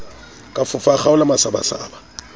ka fofa a kgaola masabasaba